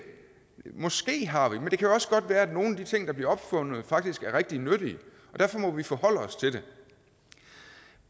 måske har vi men det kan jo også godt være at nogle af de ting der bliver opfundet faktisk er rigtig nyttige og derfor må vi forholde os til det